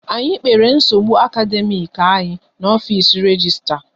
Anyị kpere nsogbu akademiiki anyị n'ofisi registra